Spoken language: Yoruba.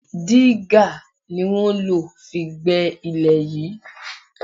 Diga ni wọ́n lo fi gbé ilẹ̀ yìí.